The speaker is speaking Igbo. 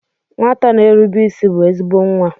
Nwata na-erube isi bụ ezigbo nwa.